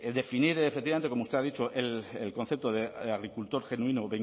definir efectivamente como usted ha dicho el concepto de agricultor genuino